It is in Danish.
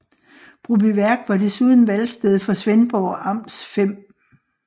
Brobyværk var desuden valgsted for Svendborg Amts 5